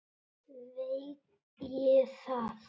Veit ég það?